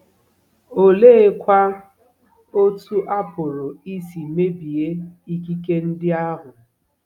Oleekwa otú a pụrụ isi mebie ikike ndị ahụ?